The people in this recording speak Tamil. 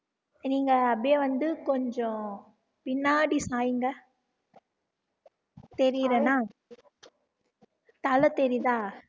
நீங்க அப்படியே வந்து கொஞ்சம் பின்னாடி சாய்ங்க தெரியறனா தலை தெரியுதா